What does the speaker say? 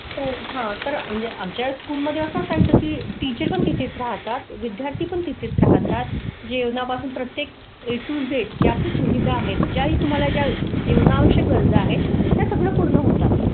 हो हां तर आमच्या स्कूल मध्ये असं काय की टीचर पण तीच राहतात. विद्यार्थी पण तिथेच राहतात. जेवणा पासून प्रत्येक ए टू झेड जे आपण सुविधा आहेत ज्या तुम्हाला ज्या जीवनावश्यक गरजा आहेत त्या सगळं पूर्ण होतात.